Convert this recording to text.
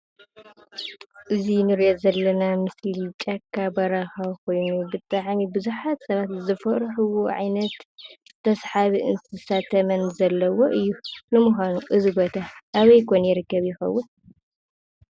እዚ ንሪኦ ዘለና ምስሊ ጫካ በረኻ ኾይኑ ብጣዕሚ ቡዝሓት ሰባት ዘፍርሕዎ ንዓይነት ተሳሓቢ እንስሳት ተመን ዘለዎ እዩ። ንምኳኑ እዚ ቦታ አበይ ኮን ይርከብ ይኸውን ?